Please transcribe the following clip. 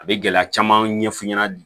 A bɛ gɛlɛya caman ɲɛf'u ɲɛna